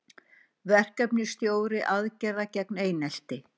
Verkefnisstjóri aðgerða gegn einelti